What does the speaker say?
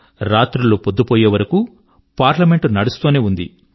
రాత్రులు పొద్దు పోయేవరకూ పార్లమెంట్ నడుస్తూనే ఉంది